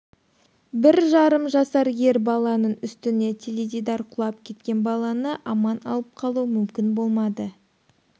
бір жарым жасар ер баланың үстіне теледидар құлап кеткен баланы аман алып қалу мүмкін болмады